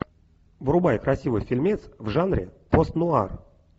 врубай красивый фильмец в жанре пост нуар